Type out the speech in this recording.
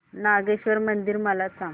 नागेश्वर मंदिर मला सांग